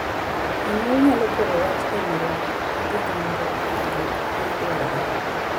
Jonyuol nyalo poro wach e wii romb gige nyombo (kaka dhok) ma dwarore.